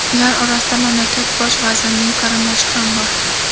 Ular orasida mamlakakt bosh vazirining qarindoshi ham bor.